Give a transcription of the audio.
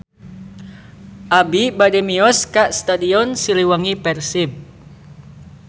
Abi bade mios ka Stadion Siliwangi Persib